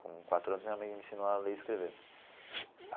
Com quatro anos, minha mãe me ensinou a ler e escrever.